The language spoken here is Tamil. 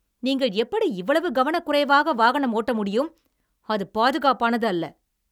நீங்கள் எப்படி இவ்வளவு கவனக்குறைவாக வாகனம் ஓட்ட முடியும், அது பாதுகாப்பானது அல்ல!